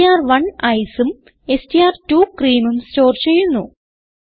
എസ്ടിആർ1 ICE ഉം STR two cream ഉം store ചെയ്യുന്നു